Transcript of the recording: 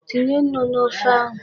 Tinye nnu n'ofe ahụ.